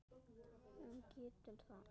Hún getur það ekki.